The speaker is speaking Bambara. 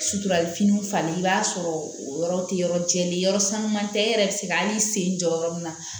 Suturafiniw falen i b'a sɔrɔ o yɔrɔ tɛ yɔrɔ jɛlen yɔrɔ sanu man tɛ e yɛrɛ bɛ se ka hali i sen jɔ yɔrɔ min na